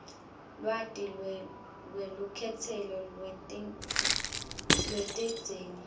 lwati lwelukhetselo lwetidzingo